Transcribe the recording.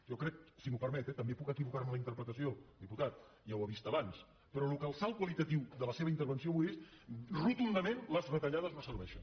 jo crec si m’ho permet eh també puc equivocar me en la interpretació diputat ja ho ha vist abans però el salt qualitatiu de la seva intervenció avui és rotundament les retallades no serveixen